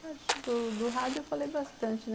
do rádio, eu falei bastante.